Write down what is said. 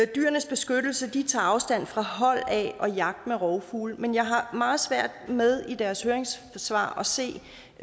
dyrenes beskyttelse tager afstand fra hold af og jagt med rovfugle men jeg har meget svært ved i deres høringssvar at se